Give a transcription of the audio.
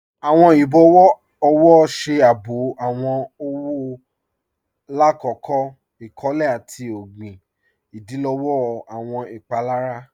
Awọn ibọwọ ọwọ ṣe àábò awọn ọwọ làkọ̀kọ̀ ikọ̀lẹ̀ àti ogbin, ìdílọ̀wọ̀ awọn ìpalára.